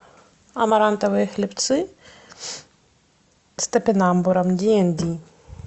амарантовые хлебцы с топинамбуром ди энд ди